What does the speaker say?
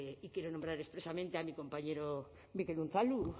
y quiero nombrar expresamente a mi compañero mikel unzalu